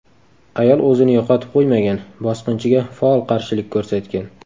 Ayol o‘zini yo‘qotib qo‘ymagan, bosqinchiga faol qarshilik ko‘rsatgan.